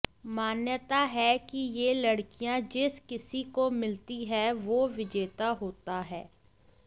मान्यता है कि ये लकड़ियां जिस किसी को मिलती है वो विजेता होता है